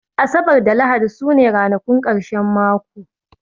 Asabar da Lahadi su ne ranakun ƙarshen mako